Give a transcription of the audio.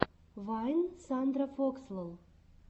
вайн сандрафокслол